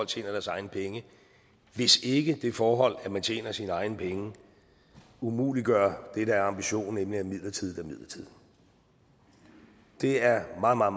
tjener deres egne penge hvis ikke det forhold at man tjener sine egne penge umuliggør det der er ambitionen nemlig at midlertidigt er midlertidigt det er meget meget